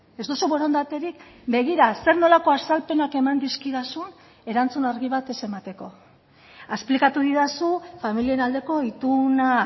ez duzu borondaterik begira zer nolako azalpenak eman dizkidazun erantzun argi bat ez emateko esplikatu didazu familien aldeko ituna